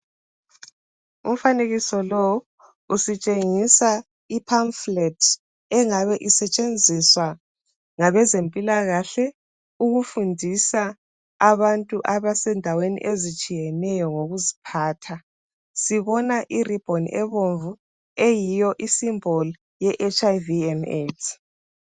Umfanekiso lo usitshengisa iphamufulethi engabe isetshenziswa ngabezempilakahle ukufundisa abantu abasendaweni ezitshiyeneyo ngokuziphatha, sibona iribhoni ebomvu eyiyo isimbolu ye hiv and aids.